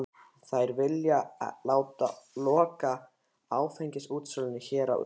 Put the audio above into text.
Þær vilja láta loka áfengisútsölunni hérna á Austurfirði!